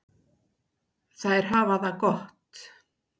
Þær hafa það gott.